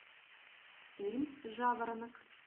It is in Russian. фильм жаворонок